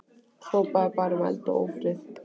Hrópaði bara um eld og ófrið.